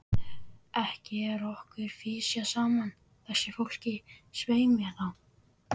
Ekki er okkur fisjað saman, þessu fólki, svei mér þá!